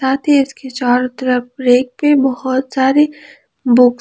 साथ ही इसके चारों तरफ रेक पे बहुत सारी बुक --